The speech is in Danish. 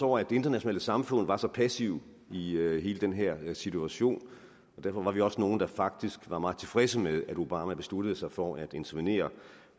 over at det internationale samfund var så passivt i hele den her situation og derfor var vi også nogle der faktisk var meget tilfredse med at obama besluttede sig for at intervenere